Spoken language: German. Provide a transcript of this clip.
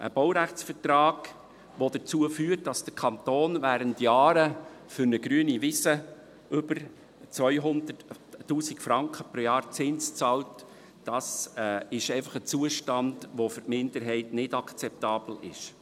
Ein Baurechtsvertrag, der dazu führt, dass der Kanton während Jahren für eine grüne Wiese über 200’000 Franken Zins pro Jahr zahlt, ist einfach ein Zustand, der für die Minderheit nicht akzeptabel ist.